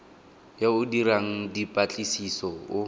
yo o dirang dipatlisiso o